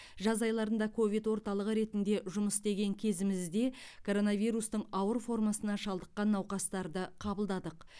жаз айларында ковид орталығы ретінде жұмыс істеген кезімізде короновирустың ауыр формасына шалдыққан науқастарды қабылдадық